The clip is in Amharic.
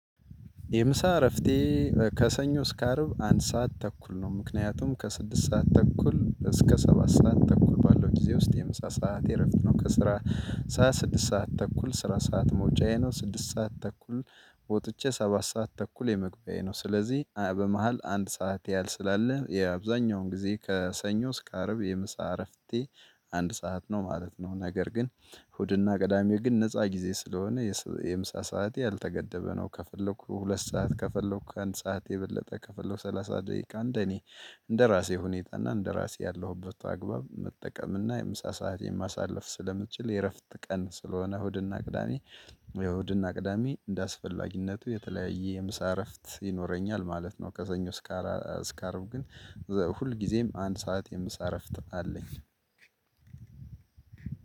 የምሳ እረፍቴ ከሰኞ እስከ አርብ አንድ ሰዓት ተኩል ነው ምክንያቱም ከስድስት ሰዓት ተኩል እስከ ሰባት ሰዓት ተኩል ባለው ጊዜ ውስጥ የምሳ ሰዓት እረፍት ነው ከስራ። ስድስት ሰዓት ተኩል ስራ ሰዓት መውጫዬ ነው ስድስት ሰዓት ተኩል ወጥቼ ሰባት ሰዓት ተኩል የመግቢያዬ ነው። ስለዚህ በመሃል አንድ ሰዓት ያህል ስላለ የአብዛኛውን ጊዜ ከሰኞ እስከ አርብ የምሳ እረፍቴ አንድ ሰዓት ነው ማለት ነው። ነገር ግን እሁድና ቅዳሜ ግን ነፃ ጊዜ ስለሆነ የምሳ ሰዓቴ ያልተገደበ ነው። ከፈለኩ ሁለት ሰዓት ከፈለኩ ከአንድ ሰዓት የበለጠ ከፈለኩ ሰላሳ ደቂቃ እንደኔ እንደራሴ ሁኔታ እና እንደራሴ ያለሁበት አግባብ መጠቀም እና የምሳ ሰዓት የማሳለፍ ስለምትችል የእረፍት ቀን ስለሆነ እሁድና ቅዳሜ። እሁድና ቅዳሜ እንደአስፈላጊነቱ የተለያየ የምሳ እረፍት ይኖረኛል ማለት ነው። ከሰኞ ስካራ ስካርብ አርብ ግን ሁል ጊዜም አንድ ሰዓት የምሳረፍት አለኝ።